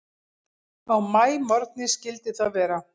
Á maímorgni skyldi það vera.